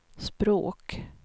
språk